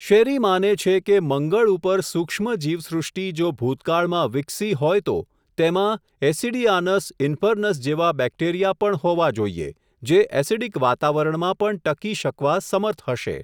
શેરી માને છે કે મંગળ ઉપર સુક્ષ્મ જીવસૃષ્ટી જો ભૂતકાળમાં વિકસી હોય તો, તેમાં એસીડીઆનસ ઇન્ફર્નસ જેવાં બેકટેરીયા પણ હોવા જોઈએ, જે એસીડીક વાતાવરણમાં પણ ટકી શકવા સમર્થ હશે.